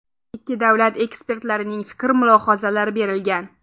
Ikki davlat ekspertlarining fikr-mulohazalari berilgan.